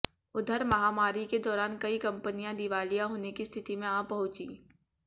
उधर महामारी के दौरान कई कंपनियां दिवालिया होने की स्थिति में आ पहुंची